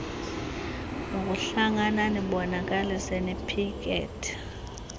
lokuhlangana nibonakalise niphikethe